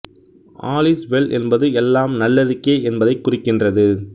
all is well என்பது எல்லாம் நல்லதுக்கே என்பதைக் குறிக்கின்றது